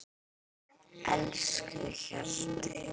Elsku Hjalti.